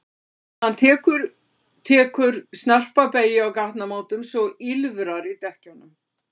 Hann tekur tekur snarpa beygju á gatnamótum svo að ýlfrar í dekkjunum.